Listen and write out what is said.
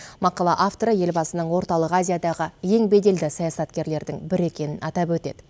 мақала авторы елбасының орталық азиядағы ең беделді саясаткерлердің бірі екенін атап өтеді